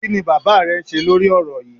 Kí ni bàbá rẹ ń ṣe lórí ọ̀rọ̀ yíì?